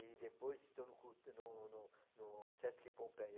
E depois estou no cul no no no Sesc Pompeia.